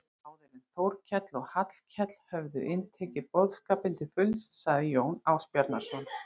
Áður en Þórkell og Hallkell höfðu inntekið boðskapinn til fulls sagði Jón Ásbjarnarson